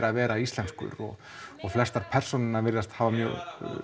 að vera íslenskur og og flestar perónurnar virðast hafa mjög